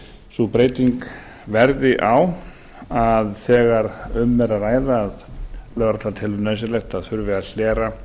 sú breyting verði á að þegar um er að ræða að lögreglan telur nauðsynlegt að þurfi að hlera